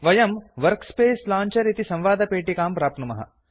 वयं workspace launcher इति संवादपेटिकां प्राप्नुमः